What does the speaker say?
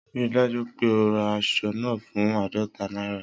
Rii daju pe o ra asọ naa fun aadọta naira!